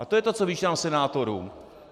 A to je to, co vyčítám senátorům.